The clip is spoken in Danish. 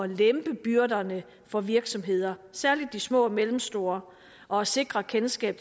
lempe byrderne for virksomheder særlig de små og mellemstore og at sikre kendskab